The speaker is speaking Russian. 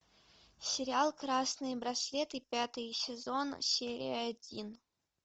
сериал красные браслеты пятый сезон серия один